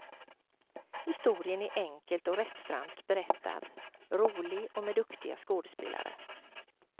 Historien är enkelt och rättframt berättad, rolig och med duktiga skådespelare.